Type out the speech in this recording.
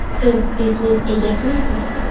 Siz biznes egasimisiz?